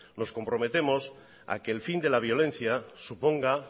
nos comprometemos a que el fin de la violencia suponga